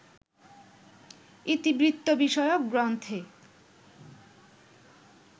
ইতিবৃত্ত-বিষয়ক গ্রন্থে